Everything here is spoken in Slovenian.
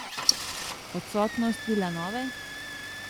Odsotnost Vilanove?